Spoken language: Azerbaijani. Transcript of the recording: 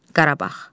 Qarabağ.